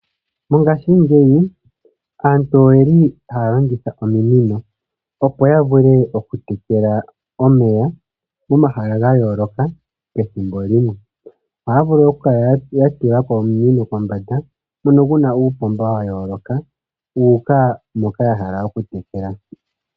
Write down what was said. Mongashingeyi aantu oyeli haya longitha ominino opo ya vule okutekela omeya momahala ga yooloka pethimbo limwe. Ohaya vulu ikukala ya tulapo ominino kombanda ngono guna uupomba wa yooloka wu uka mpoka ya hala okutekela.